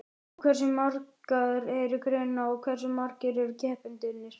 Og hversu margar eru greinarnar og hversu margir eru keppendurnir?